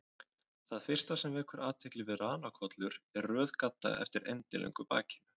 Það fyrsta sem vekur athygli við ranakollur er röð gadda eftir endilöngu bakinu.